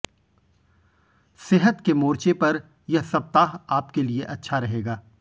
सेहत के मोर्चे पर यह सप्ताह आपके लिए अच्छा रहेगा